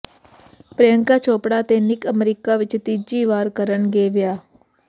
ਪ੍ਰਿਅੰਕਾ ਚੋਪੜਾ ਤੇ Nick America ਵਿਚ ਤੀਜੀ ਵਾਰ ਕਰਨਗੇ ਵਿਆਹ